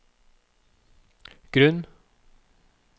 grunn